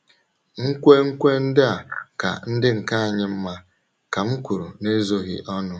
“ Nkwenkwe ndị a ka ndị nke anyị mma, ” ka m kwuru n’ezoghị ọnụ.